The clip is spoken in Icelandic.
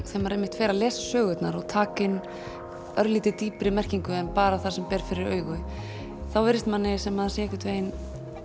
þegar maður einmitt fer að lesa sögurnar og taka inn örlítið dýpri merkingu en bara það sem ber fyrir augu þá virðist manni sem sé einhvern veginn